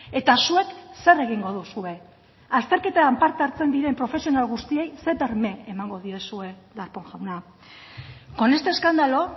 eta zuek zer egingo duzue azterketan parte hartzen diren profesional guztiei ze berme emango diezue darpón jauna con este escándalo